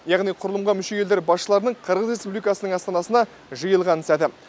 яғни құрылымға мүше елдер басшыларының қырғыз республикасының астанасына жиылған сәті